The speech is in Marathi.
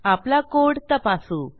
आपला कोड तपासू